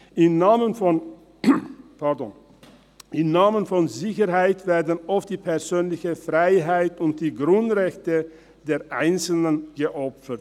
Im Namen der Sicherheit werden oft die persönliche Freiheit und die Grundrechte der Einzelnen geopfert.